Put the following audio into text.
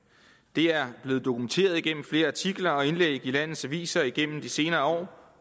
det er blevet dokumenteret igennem flere artikler og indlæg i landets aviser igennem de senere